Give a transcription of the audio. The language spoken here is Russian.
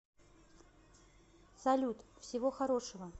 салют всего хорошего